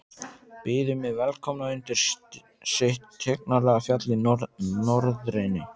Byðu mig velkomna undir sitt tignarlega fjall í norðrinu.